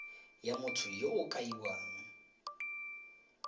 ya motho yo o kaiwang